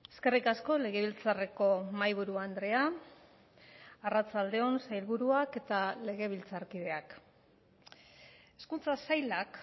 eskerrik asko legebiltzarreko mahai buru andrea arratsalde on sailburuak eta legebiltzarkideak hezkuntza sailak